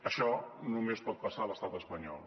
això només pot passar a l’estat espanyol